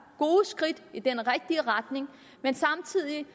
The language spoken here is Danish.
gode skridt i den rigtige retning men samtidig